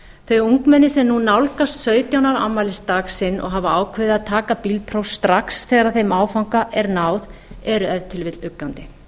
þegar ungmenni sem nú nálgast sautján ára afmælisdag sinn og hafa ákveðið að taka bílpróf strax þegar þeim áfanga er náð eru ef til vill uggandi